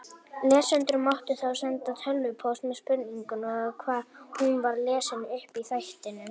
Lesendur máttu þá senda tölvupóst með spurningu og hún var lesin upp í þættinum.